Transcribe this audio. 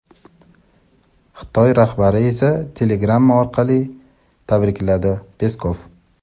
Xitoy rahbari esa telegramma orqali tabrikladi — Peskov.